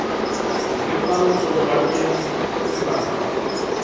lefang tonobankeng ho sebaka kapa